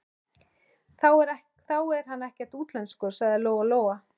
Þá er hann ekkert útlenskur, sagði Lóa Lóa.